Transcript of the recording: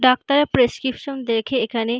ডাক্তারের প্রেসক্রিপশন দেখে এখানে--